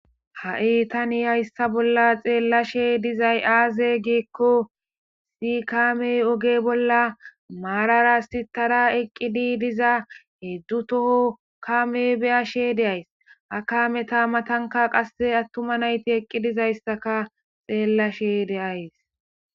Ha7i tani hayssa bolla xeellashe dizay aaze giikko si kaamey oge bolla maararasitara eqqidi diza hedzdzu toho kame beyashe deays akame ta matanka qasse attuma nayti eqqidizayssaka xeellashe deays.